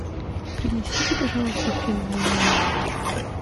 принесите пожалуйста фен в мой номер